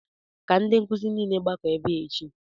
Ka ndi nkuzi niile gbakọọ ebe a echi!